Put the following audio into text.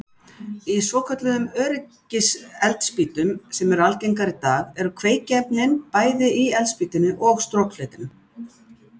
Í svokölluðum öryggiseldspýtum sem eru algengar í dag eru kveikiefnin bæði á eldspýtunni og strokfletinum.